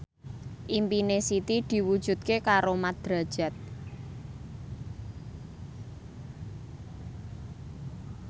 impine Siti diwujudke karo Mat Drajat